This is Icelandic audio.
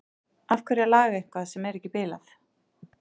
Af hverju að laga eitthvað sem er ekki bilað?